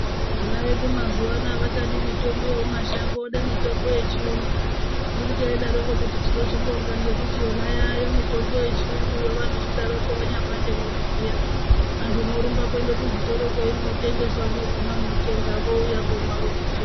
Vana vedu mazuano avachadi mitombo yemumashango vede mitombo yechiyungu unotoidaroko kuti tinozvibonga ngekuti yona yayo mitombo yechiyunguyo vanochidaroko vanyapande mwiri zviya antu mworumbe kuende kuzvitoro kweinotengeswa mwoguma mwotenga vouya vomwa vopora.